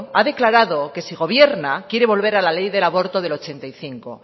ha declarado que si gobierna quiere volver a la ley del aborto del ochenta y cinco